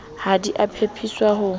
ha di a pepeswa ho